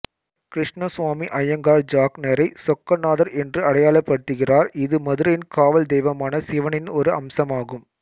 கிருஷ்ணசுவாமி ஐயங்கார் ஜக்னரை சொக்கநாதர் என்று அடையாளப்படுத்துகிறார் இது மதுரையின் காவல் தெய்வமான சிவனின் ஒரு அம்சமாகும்